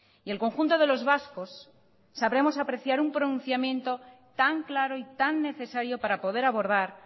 y el conjunto de los vascos sabremos apreciar un pronunciamiento tan claro y tan necesario para poder abordar